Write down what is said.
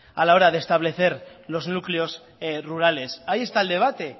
a la hora de establecer los núcleos rurales ahí esta el debate